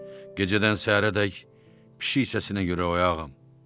Gecədən səhərədək pişik səsinə görə oyağam.